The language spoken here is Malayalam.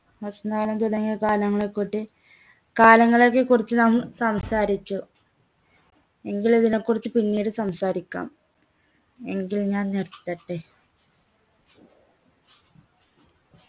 വസന്തകാലം തുടങ്ങിയ കാലങ്ങളെകുട്ടി കാലങ്ങളെയൊക്കെ കുറിച്ച് നാം സംസാരിച്ചു എങ്കിൽ ഇതിനെ കുറിച്ച് പിന്നീട് സംസാരിക്കാം എങ്കിൽ ഞാൻ നിർത്തട്ടെ